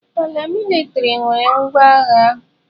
Paramilitrị nwere ngwa agha.